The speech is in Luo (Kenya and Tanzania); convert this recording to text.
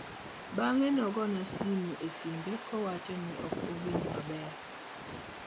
bang'e nogona simu e simbe kowachoni okowinj maber